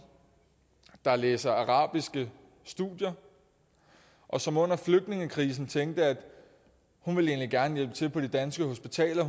der læser arabiske studier og som under flygtningekrisen tænkte at hun egentlig gerne ville til på de danske hospitaler